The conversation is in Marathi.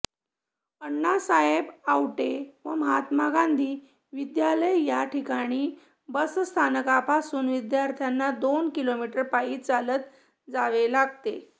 अण्णासाहेब आवटे व महात्मा गांधी विद्यालय याठिकाणी बसस्थानकापासून विद्यार्थ्यांना दोन किलोमीटर पायी चालत जावे लागते